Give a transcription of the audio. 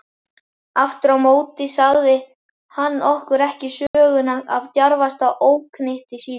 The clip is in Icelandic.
Afturámóti sagði hann okkur ekki söguna af djarfasta óknytti sínum.